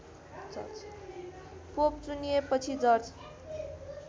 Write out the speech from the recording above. pope चुनिएपछि George